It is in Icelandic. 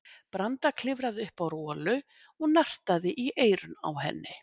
Branda klifraði upp á Rolu og nartaði í eyrun á henni.